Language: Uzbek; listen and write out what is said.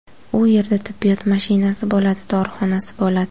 U yerda tibbiyot mashinasi bo‘ladi, dorixonasi bo‘ladi.